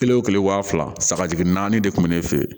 Kelen o kelen wa fila saga jigin naani de tun bɛ ne fɛ yen